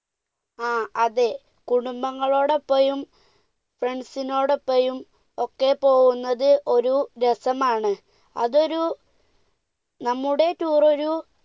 ങ്ഹാ, അതെ, കുടുംബങ്ങളോടൊപ്പവും friends നോടൊപ്പവും ഒക്കെ പോകുന്നത് ഒരു രസമാണ്, അതൊരു, നമ്മുടെ tour ഒരു